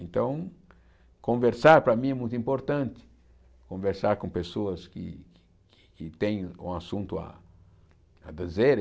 Então, conversar para mim é muito importante, conversar com pessoas que que têm um assunto a a dizer.